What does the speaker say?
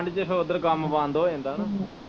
ਠੰਡ ਚ ਫਿਰ ਓਦਰ ਕੰਮ ਬੰਦ ਹੋ ਜਾਂਦਾ ਨਾ